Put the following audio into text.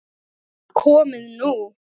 Komið nú